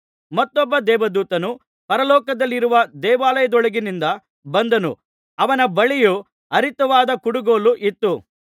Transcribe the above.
ಮತ್ತೊಬ್ಬ ದೇವದೂತನು ಪರಲೋಕದಲ್ಲಿರುವ ದೇವಾಲಯದೊಳಗಿನಿಂದ ಬಂದನು ಅವನ ಬಳಿಯೂ ಹರಿತವಾದ ಕುಡುಗೋಲು ಇತ್ತು